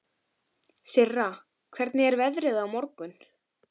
Sirra, hvernig er veðrið á morgun?